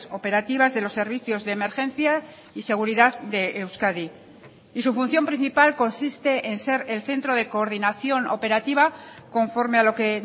operativas de los servicios de emergencia y seguridad de euskadi y su función principal consiste en ser el centro de coordinación operativa conforme a lo que